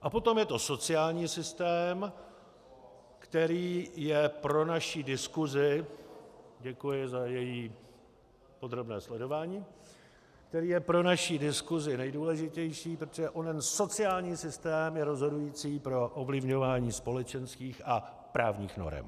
A potom je to sociální systém, který je pro naši diskusi - děkuji za její podrobné sledování - který je pro naši diskusi nejdůležitější, protože onen sociální systém je rozhodující pro ovlivňování společenských a právních norem.